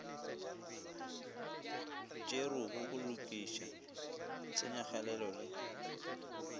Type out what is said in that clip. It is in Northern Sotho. tšerwego go lokiša tshenyagalelo le